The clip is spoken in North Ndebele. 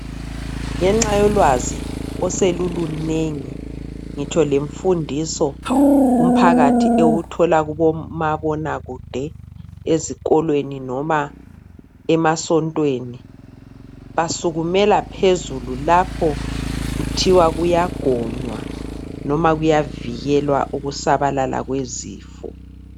Ngenxa yolwazi osolulunengi ngitsho lemfundiso umphakathi ewuthola kumabona kude ezikolwen noma emasontwen basukumela phezulu lapho kuthiwa kuyagonywa noma kuyavikelwa ukusabalala kwezifo